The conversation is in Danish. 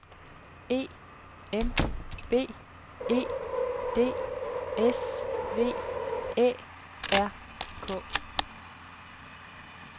E M B E D S V Æ R K